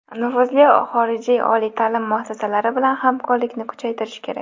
Nufuzli xorijiy oliy ta’lim muassasalari bilan hamkorlikni kuchaytirish kerak.